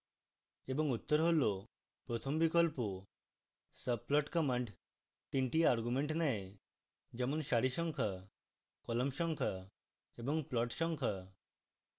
এবং উত্তর হল প্রথম বিকল্প